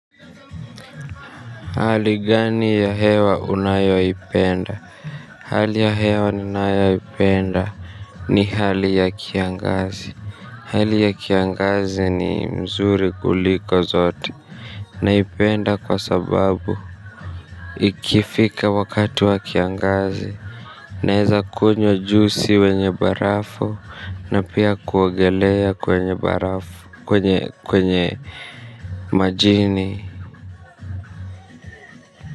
Hali gani ya hewa unayoipenda hali ya hewa ninayoipenda ni hali ya kiangazi hali ya kiangazi ni mzuri kuliko zote naipenda kwa sababu ikifika wakati wa kiangazi naweza kunywa juisi wenye barafu na pia kuogelea kwenye barafu kwenye majini.